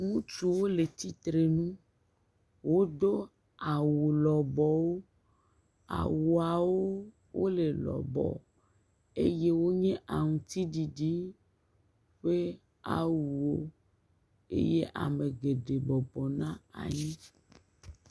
Ŋutsu wole tsitre nu. Wodo awu lɔbɔwo. Awuawo wole lɔbɔ eye wònye aŋɔti ɖiɖi ƒe awu wò eye ame geɖe bɔbɔ nɔ anyi.